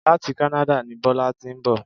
Láti Canada ni Bọ́lá ti ń bọ̀